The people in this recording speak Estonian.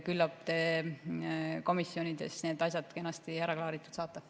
Küllap te komisjonides need asjad kenasti ära klaaritud saate.